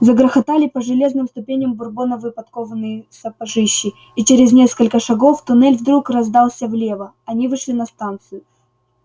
загрохотали по железным ступеням бурбоновы подкованные сапожищи и через несколько шагов туннель вдруг раздался влево они вышли на станцию